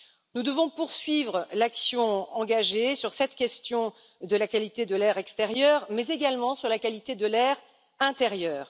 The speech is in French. Nous devons poursuivre l'action engagée sur cette question de la qualité de l'air extérieur, mais également sur la qualité de l'air intérieur.